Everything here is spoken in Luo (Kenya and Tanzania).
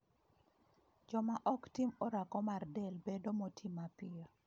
Joma ok tim orako mar del bedo moti mapiyo